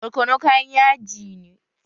Barkono kayan yaji ne